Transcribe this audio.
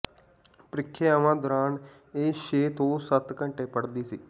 ਪ੍ਰੀਖਿਆਵਾਂ ਦੌਰਾਨ ਇਹ ਛੇ ਤੋਂ ਸੱਤ ਘੰਟੇ ਪੜ੍ਹਦੀ ਸੀ